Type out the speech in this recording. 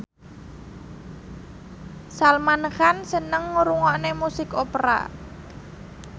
Salman Khan seneng ngrungokne musik opera